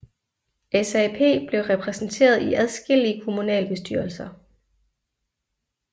SAP blev repræsenteret i adskillige kommunalbestyrelser